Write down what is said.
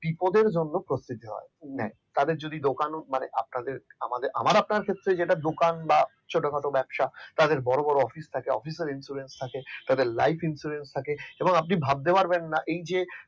বিপদের জন্য প্রস্তুতি নেয় তাদের যদি দোকানও মানে আপনাদের আমার আপনার ক্ষেত্রে যেটা দোকান বা ছোটখাট ব্যবসা তাদের বড়ো বড়ো অফিস থাকে তাদের office insurance থাকে life insurance থাকে এবং আপনি ভাবতে পারবেন না এই যে